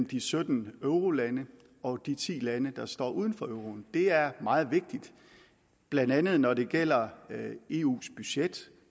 de sytten eurolande og de ti lande der står uden for euroen det er meget vigtigt blandt andet når det gælder eus budget